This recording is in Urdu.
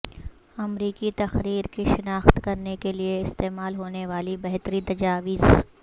امریکی تقریر کی شناخت کرنے کے لئے استعمال ہونے والی بہترین تجاویز